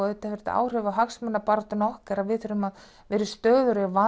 auðvitað hefur þetta áhrif á hagsmunabaráttu okkar við þurfum að vera í stöðugri